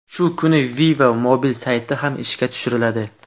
Shu kuni Viva Mobil sayti ham ishga tushiriladi.